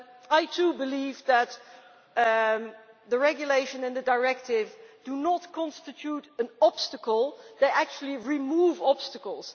I too believe that the regulation and the directive do not constitute an obstacle, they actually remove obstacles.